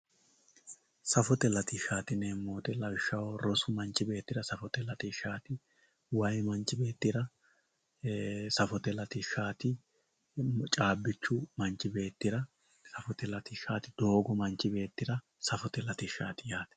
Safotye latishati yinemo woyite lawishaho roosu manchi betira safote latishati wayi manchi betira ee safote latishati cabichu manchi betira safote latishati Doogo manchi betira safote latishati yate